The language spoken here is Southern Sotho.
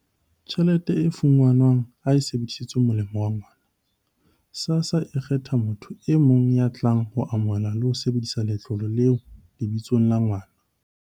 Tjhelete e fumanwang ha e sebedisetswe molemong wa ngwana, SASSA e ka kgetha motho e mong ya tlang ho amohela le ho sebedisa letlole leo lebitsong la ngwana.